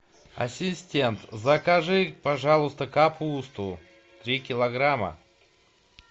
ассистент закажи пожалуйста капусту три килограмма